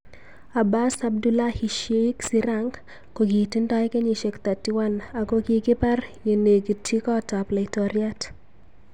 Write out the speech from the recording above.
Abas Abdullahi Sheikh Sirank kokitindoi kenyishek 31 akokikipar yenekitchi kot ap. Laitoriat.